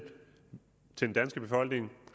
den danske befolkning